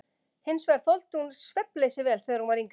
Hins vegar þoldi hún svefnleysi vel þegar hún var yngri.